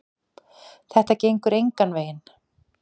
Þetta gengur engan veginn.